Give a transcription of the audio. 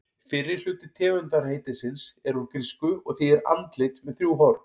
Fyrri hluti tegundarheitisins er úr grísku og þýðir andlit með þrjú horn.